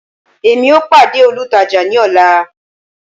emi o pade olùtajà ni ọla